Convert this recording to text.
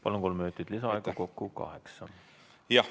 Palun, kolm minutit lisaaega, kokku kaheksa.